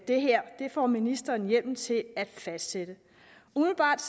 det her får ministeren hjemmel til at fastsætte umiddelbart